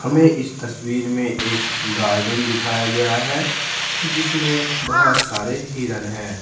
हमें इस तस्वीर में एक गार्डन दिखाया गया है जिसमें बहुत सारे हिरन हैं।